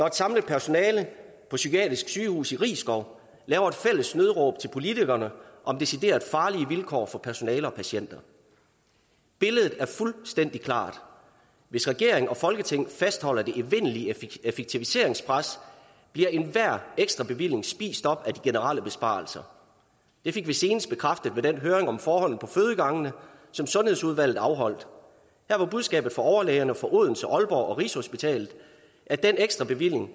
et samlet personale på psykiatrisk sygehus i risskov laver et fælles nødråb til politikerne om decideret farlige vilkår for personale og patienter billedet er fuldstændig klart hvis regeringen og folketinget fastholder det evindelige effektiviseringspres bliver enhver ekstrabevilling spist op af de generelle besparelser det fik vi senest bekræftet ved den høring om forholdene på fødegangene som sundhedsudvalget afholdt der var budskabet fra overlægerne fra odense aalborg og rigshospitalet at den ekstrabevilling